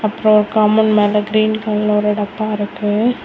அப்றோ காம்பவுண்ட் மேல கிரீன் கலர்ல ஒரு டப்பா இருக்கு.